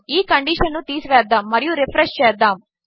ఈకండీషన్నుతీసివేద్దాముమరియురిఫ్రెష్చేద్దాము